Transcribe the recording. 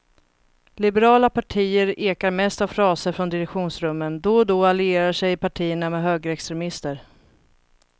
Liberala partier ekar mest av fraser från direktionsrummen, då och då allierar sig partierna med högerextremister.